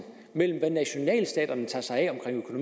mellem det nationalstaterne tager sig af omkring